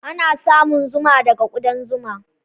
Ana samun zuma daga ƙudan zuma.